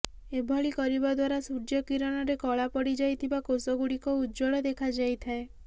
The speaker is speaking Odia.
ଏଭଳି କରିବା ଦ୍ୱାରା ସୂର୍ଯ୍ୟ କିରଣରେ କଳା ପଡିଯାଇଥିବା କୋଷ ଗୁଡିକ ଉଜ୍ଜ୍ୱଳ ଦେଖାଯାଇଥାଏ